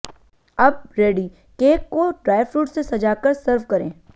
अब ready cake को dry fruits से सजाकर सर्व करें